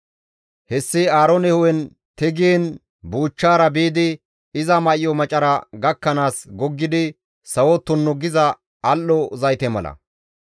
Hessi Aaroone hu7en tigiin buuchchaara biidi iza may7o macara gakkanaas goggidi sawo tunnu giza al7o zayte mala.